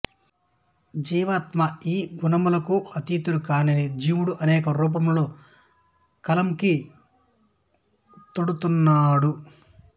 జీవాత్మ ఈ గుణములకు అతీతుడు కాని జీవుడు అనేక రూపములతో కళంకితుడౌతున్నాడు